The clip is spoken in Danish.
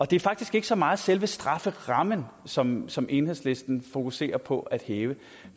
det er faktisk ikke så meget selve strafferammen som som enhedslisten fokuserer på at hæve